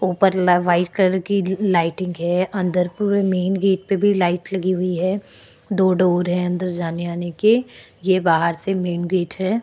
ऊपर ला white colour की लाईटिंग हैं। अंदर पूरे मेंन गेट पे भी लाइट लगी हुई है दो डोर हैं अंदर जाने आने के। ये बाहर से मेंन गेट है।